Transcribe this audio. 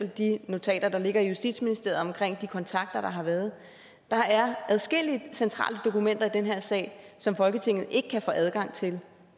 de notater der ligger i justitsministeriet om de kontakter der har været der er adskillige centrale dokumenter i den her sag som folketinget ikke kan få adgang til